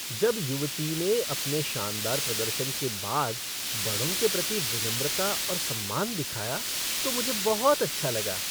जब युवती ने अपने शानदार प्रदर्शन के बाद बड़ों के प्रति विनम्रता और सम्मान दिखाया तो मुझे बहुत अच्छा लगा।